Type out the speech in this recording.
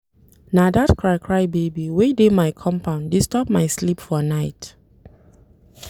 Na dat cry-cry baby wey dey my compound disturb my sleep for night.